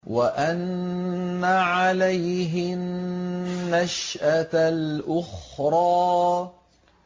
وَأَنَّ عَلَيْهِ النَّشْأَةَ الْأُخْرَىٰ